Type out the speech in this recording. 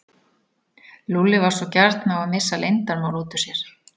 Lúlli var svo gjarn á að missa leyndarmál út úr sér.